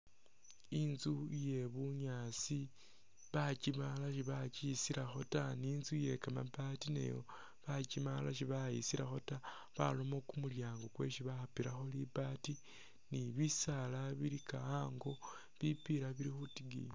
Inzu iye bunyaasi bakimaala si bakisilakho ta ni inzu iye kamabaati nayo bakimaala si bayisilakho ta, barakho kumulyango kwesi bapilakho libaati ni bisaala bilika a'ango, bipila bili khutikiyiyi.